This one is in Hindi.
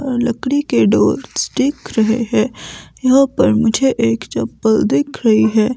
लकड़ी के डोर्स दिख रहे हैं यहां पर मुझे एक चप्पल दिख रही है।